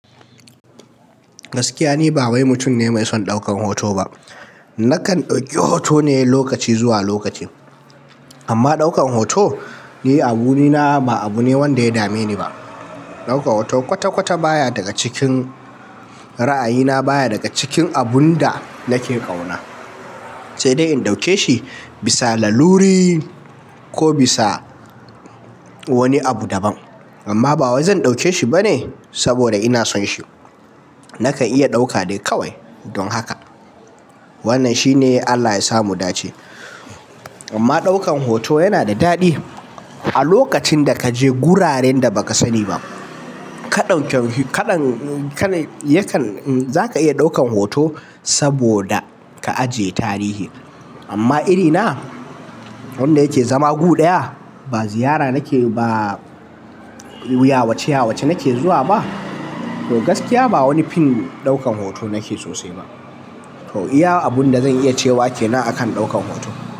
Gaskiya ni ba wai mutum ne mai son ɗaukan hoto ba. Nakan ɗauki hoto ne lokaci zuwa lokaci. Amma ɗaukan hoto ni a guri na ba abu ne wanda ya dame ni ba. Ɗaukan hoto kwata-kwata baya daga cikin ra'ayina baya daga cikin abun da nake ƙauna, sai dai in ɗauke shi bisa laluri ko bisa wani abu daban. Amma ba wai zan ɗauke shi bane saboda ina son shi. Nakan iya ɗauka dai kawai don haka. Wannan shi ne Allah yasa mudace. Amma ɗaukan hoto yana da daɗi a lokacin da kaje guraren da baka sani ba. Ka ɗauken, kaɗan, yakan za ka iya ɗaukan hoto saboda ka ajiye tarihi. Amma irina wanda yake zama gu daya ba ziyara nake ba yawace yawace nake zuwa ba, to gaskiya ba wani fin ɗaukan hoto nake sosai ba. To iya abun da zan iya cewa kenan a kan ɗaukan hoto.